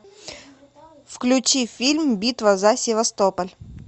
включи фильм битва за севастополь